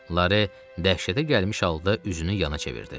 Lare dəhşətə gəlmiş halda üzünü yana çevirdi.